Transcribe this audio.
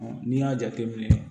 n'i y'a jateminɛ